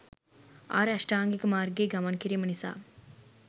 ආර්ය අෂ්ටාංගික මාර්ගයේ ගමන් කිරීම නිසා